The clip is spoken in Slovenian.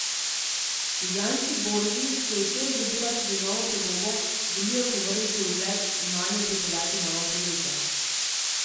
Ljubljanski borzi, ki je včeraj dobila tudi novo podobo, želijo povrniti ugled in nanjo pripeljati nova podjetja.